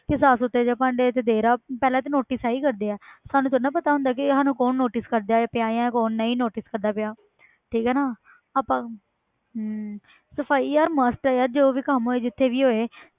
ਕਿ ਸਾਫ਼ ਸੁੱਥਰੇ ਜਿਹੇ ਭਾਂਡੇ ਤੇ ਦੇ ਰਿਹਾ, ਪਹਿਲਾਂ ਤਾਂ notice ਇਹੀ ਕਰਦੇ ਹੈ ਸਾਨੂੰ ਥੋੜ੍ਹਾ ਨਾ ਪਤਾ ਹੁੰਦਾ ਕਿ ਸਾਨੂੰ ਕੌਣ notice ਕਰਦਾ ਪਿਆ ਹੈ ਕੌਣ ਨਹੀਂ notice ਕਰਦਾ ਪਿਆ ਠੀਕ ਹੈ ਨਾ ਆਪਾਂ ਹਮ ਸਫ਼ਾਈ ਯਾਰ must ਹੈ ਯਾਰ ਜੋ ਵੀ ਕੰਮ ਹੋਏ ਜਿੱਥੇ ਵੀ ਹੋਏ।